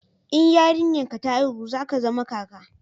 in yarinyar ka ta haihu za ka zama kaka